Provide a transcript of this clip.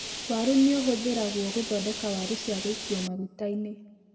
Waru nĩ ũhũthĩragwo gũthondeka waru cia gũikio maguta-inĩ.